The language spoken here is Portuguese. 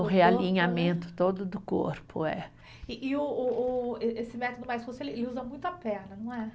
No realinhamento todo do corpo, é. E e o, o o, ê esse método mais, ele usa muito a perna, não é?